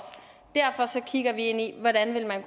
derfor kigger vi ind i hvordan man